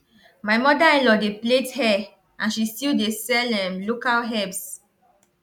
my motherinlaw dey plait hair and she still dey sell um local herbs